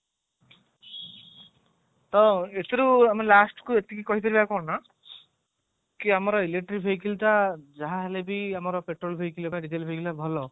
ତ ଏଥିରୁ ଆମେ last କୁ କହି ପାରିବା କଣ ନା କି ଆମର electric vehicle ଟା ଯାହା ଦେଲେ ବି ଆମର petrol vehicle diesel vehicle ଠାରୁ ଭଲ